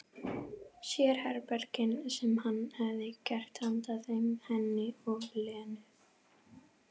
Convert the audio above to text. Sérherbergin sem hann hefði gert handa þeim, henni og Lenu.